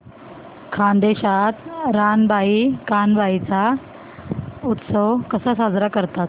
खानदेशात रानबाई कानबाई चा उत्सव कसा साजरा करतात